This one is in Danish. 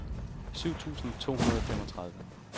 syv tusind to hundrede og femogtredive